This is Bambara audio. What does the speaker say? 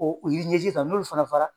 o yiri ɲɛji sisan n'olu fana fala